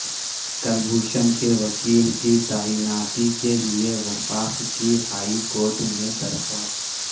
کلبھوشن کے وکیل کی تعیناتی کے لیے وفاق کی ہائی کورٹ میں درخواست